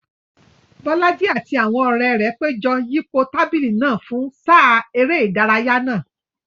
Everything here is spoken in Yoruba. Bolaji àti àwọn ọ̀rẹ́ rẹ̀ péjọ yípo tábìlì náà fún sáà eré ìdárayá náà.